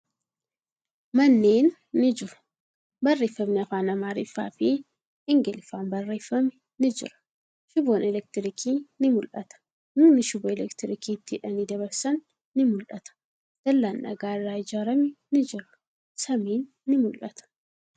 Manneen ni jiru. Barreeffamni afaan Amaariffaa fi Ingiliffaan barreeffame ni jira. Shiboon elektiriikii ni mul'ata. Mukni shiboo elektiriikii itti hidhanii dabarsan ni mul'ata. Dallaan dhagaa irraa ijaarame ni jira. Samiin ni mul'ata.